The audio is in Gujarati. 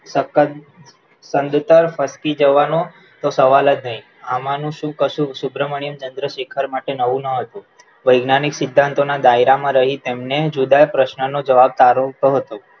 સખત સંદતર સટકી જવાનો એતો સવાલ જ નહી આમાનું શું કશું સુબ્રમણ્યમ ચંદ્રશેખર માટે નવું ન હતું વેજ્ઞાનિક સિદ્ધાંતના દાયરામાં રહી તેમને જુદા પ્રશ્નનો જવાબ સારો કહ્યો